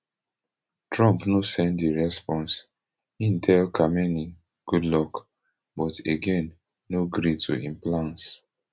trump no send di response im tell khamenei good luck but again no gree to im plans